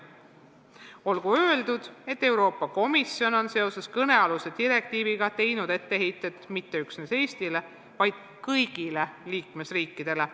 Olgu öeldud, et Euroopa Komisjon on seoses kõnealuse direktiiviga teinud etteheiteid mitte üksnes Eestile, vaid kõigile liikmesriikidele.